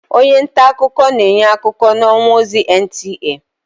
Onye ntaakụkọ na-enye akụkọ n'ọwa ozi NTA.